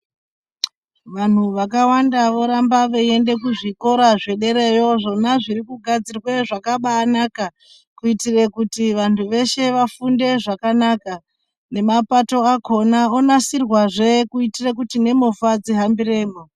Vanthu vakawanda voramba veienda kuzvikora zvedereyo izvo zvakabaagadzirwa zvakabaanaka kuitire kuti vanhu veshe vafunde zvakanaka ,nemapato onasirwazve kuitira kuti nemovha dzihambe zvakanaka.